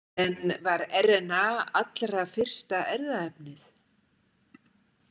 En var RNA allra fyrsta erfðaefnið?